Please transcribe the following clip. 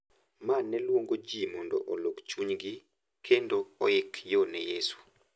Ma ne luongo ji mondo olok chunygi kendo oik yo ne Yesu.